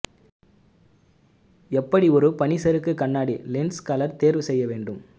எப்படி ஒரு பனிச்சறுக்கு கண்ணாடி லென்ஸ் கலர் தேர்வு செய்ய வேண்டும்